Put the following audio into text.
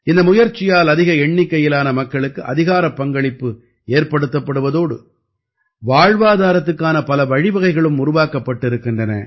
இந்த முயற்சியால் அதிக எண்ணிக்கையிலான மக்களுக்கு அதிகாரப்பங்களிப்பு ஏற்படுத்தப்படுவதோடு வாழ்வாதாரத்துக்கான பல வழிவகைகளும் உருவாக்கப்பட்டிருக்கின்றன